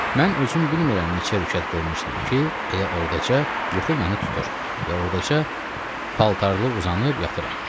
Mən özüm bilmirəm neçə rükət qılmışdım ki, elə ordaca yuxu məni tutur və ordaca paltarlı uzanıb yatıram.